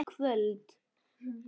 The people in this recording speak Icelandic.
Hvaða hjól?